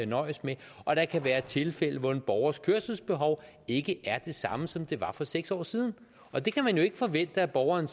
nøjes med og der kan være tilfælde hvor en borgers kørselsbehov ikke er det samme som det var for seks år siden og det kan man jo ikke forvente at borgeren